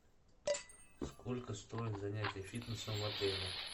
сколько стоят занятия фитнесом в отеле